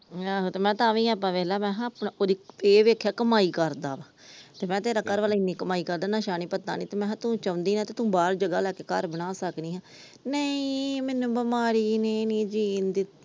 ਆਹੋ ਤਾ ਤਾਵੀ ਆਪਾ ਵੇਖਲਾ ਇਹ ਵੇਖਿਆ ਕਮਾਈ ਕਰਦਾ ਵਾ ਤੇ ਮੈ ਕਿਹਾ ਤੇਰਾ ਘਰਵਾਲਾ ਇੰਨੀ ਕਮਾਈ ਕਰਦਾ ਕੋਈ ਨਸ਼ਾ ਪੱਤਾ ਨੀ ਤੂੰ ਚੋਂਦੀ ਤੂੰ ਬਾਹਰ ਜਗਾਹ ਲੈ ਕੇ ਘਰ ਬਣਾ ਸਕਦੀ ਆ ਨਹੀਂ ਮੈਨੂੰ ਬਿਮਾਰੀ ਨੇ ਨੀ ਜੀਣ ਦਿੱਤਾ ।